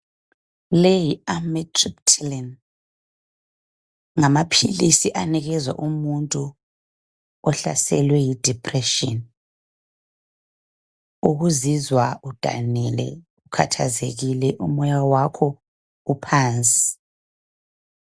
Leyi yi Amitripyline ngumuthi onikezwa umuntu ohlaselwe yi depression ukuzizwa udanile, ukhathazekile umoya wakho uphansi